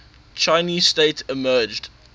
chinese state emerged